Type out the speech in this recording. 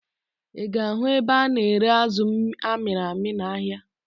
Ị ga-ahụ ebe a na-ere azụ amịrị amị n'ahịa